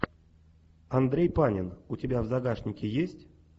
андрей панин у тебя в загашнике есть